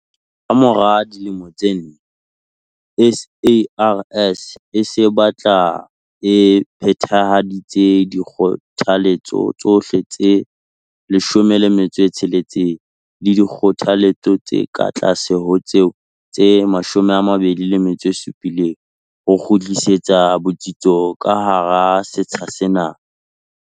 Ka mora dilemo tse nne, SARS e se batla e phethahaditse dikgothaletso tsohle tse 16 le dikgothaletso tse ka tlase ho tseo tse 27 ho kgutlisa botsitso ka hara setsha sena.